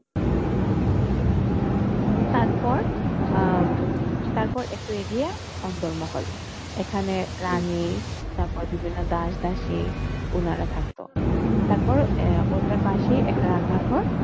তারপর, আহ তারপর একটু এগিয়ে অন্দরমহল। এখানে রানী তারপর বিভিন্ন দাস-দাসী, উনারা থাকত, তারপর ওটার পাশে একটা রান্নাঘর,